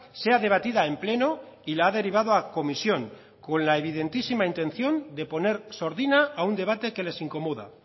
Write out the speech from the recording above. seadebatida en pleno y la ha derivado a comisión con la evidentísima intención de poner sordina a un debate que les incomoda